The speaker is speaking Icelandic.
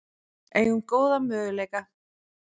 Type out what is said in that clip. Eigum góða möguleika